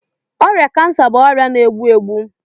Ọrịa cancer bụ ọrịa na-egbu egbu